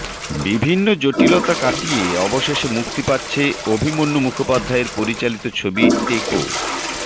বিভিন্ন জটিলতা কাটিয়ে অবশেষে মুক্তি পাচ্ছে অভিমন্যু মুখোপাধ্যায়ের পরিচালিত ছবি টেকো